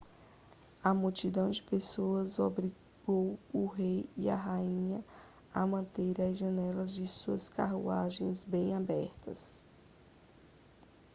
a multidão de pessoas obrigou o rei e a rainha a manterem as janelas da sua carruagem bem abertas